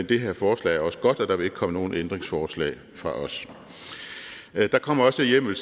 det her forslag er også godt og der vil ikke komme nogen ændringsforslag fra os der kommer også hjemmel